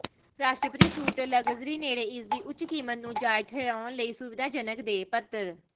ਰਾਸ਼ਟਰਪਤੀ suite luxury ਨੇੜੇ ਇਸ ਦੀ ਉੱਚ ਕੀਮਤ ਨੂੰ ਜਾਇਜ਼ ਠਹਿਰਾਉਣ ਲਈ ਸੁਵਿਧਾਜਨਕ ਦੇ ਪੱਧਰ